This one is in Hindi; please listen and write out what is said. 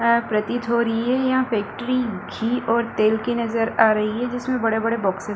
अ प्रतीत हो रही है यहाँ फैक्ट्री घी और तेल की नजर आ रही है जिसमें बड़े-बड़े बॉक्सेस --